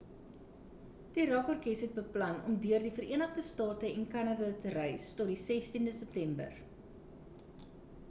die rock orkes het beplan om deur die verenigde state en kanada te reis tot die 16de september